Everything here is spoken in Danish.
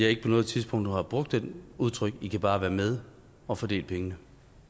ikke på noget tidspunkt har brugt det udtryk i kan bare være med og fordele pengene